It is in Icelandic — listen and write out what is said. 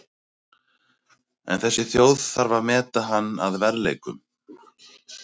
En þessi þjóð þarf að meta hann að verðleikum.